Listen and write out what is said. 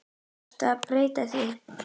Þarf að breyta því?